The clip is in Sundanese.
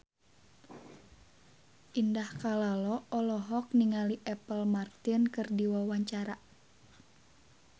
Indah Kalalo olohok ningali Apple Martin keur diwawancara